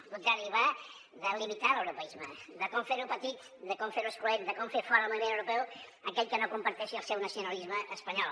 al contrari va de limitar l’europeisme de com fer·lo petit de com fer·lo excloent de com fer fora del moviment europeu aquell que no comparteixi el seu nacionalisme espanyol